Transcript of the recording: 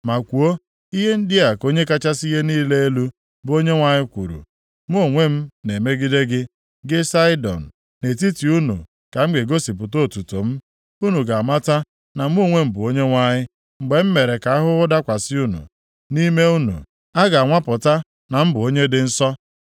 ma kwuo, ‘Ihe ndị a ka Onye kachasị ihe niile elu, bụ Onyenwe anyị kwuru, “ ‘Mụ onwe m na-emegide gị, gị Saịdọn, nʼetiti unu ka m ga-egosipụta otuto m. Unu ga-amata na mụ onwe m bụ Onyenwe anyị mgbe m mere ka ahụhụ dakwasị unu, nʼime unu, a ga-anwapụta na m bụ onye dị nsọ.